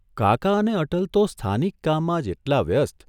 કાકા અને અટલ તો સ્થાનિક કામમાં જ એટલા વ્યસ્ત